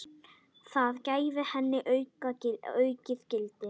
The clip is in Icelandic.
Það gæfi henni aukið gildi.